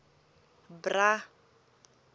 bra